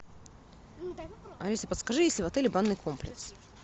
алиса подскажи есть ли в отеле банный комплекс